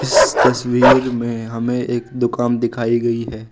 इस तस्वीर में हमें एक दुकान दिखाई गई है।